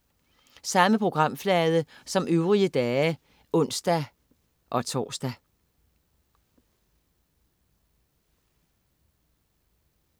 Samme programflade som øvrige dage (ons-tors)